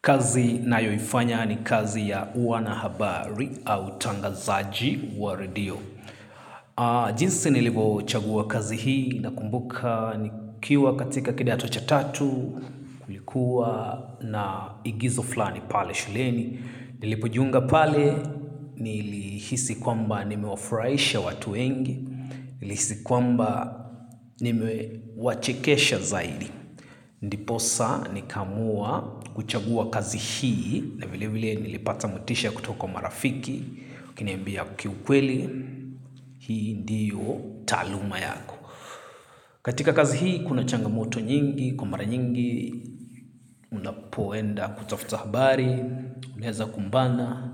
Kazi nayoifanya ni kazi ya uanahabari au utangazaji wa redio. Jinsi nilivyochagua kazi hii, nakumbuka nikiwa katika kidato cha tatu, kulikuwa na igizo flani pale shuleni. Nilipojiunga pale, nilihisi kwamba nimewafurahisha watu wengi, nilihisi kwamba nimewachekesha zaidi. Ndiposa nikaamua kuchagua kazi hii na vile vile nilipata motisha kutoka kwa marafiki, wakiniambia kiukweli, hii ndiyo taaluma yako. Katika kazi hii, kuna changamoto nyingi, kwa mara nyingi, napoenda kutafuta habari, naeza kumbana